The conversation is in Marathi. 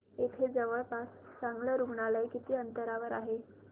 इथे जवळपास चांगलं रुग्णालय किती अंतरावर आहे